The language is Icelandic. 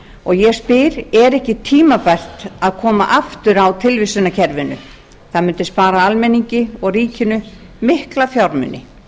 og ég spyr er ekki tímabært að koma aftur á tilvísanakerfinu það mundi spara almenningi og ríkinu mikla fjármuni